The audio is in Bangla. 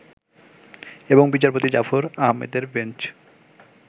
এবং বিচারপতি জাফর আহমেদের বেঞ্চ